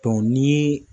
ni